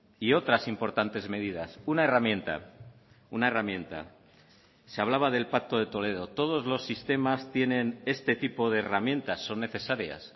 y otras importantes medidas una herramienta una herramienta se hablaba del pacto de toledo todos los sistemas tienen este tipo de herramientas son necesarias